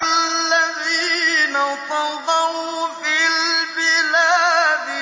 الَّذِينَ طَغَوْا فِي الْبِلَادِ